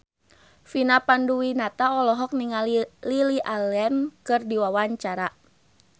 Vina Panduwinata olohok ningali Lily Allen keur diwawancara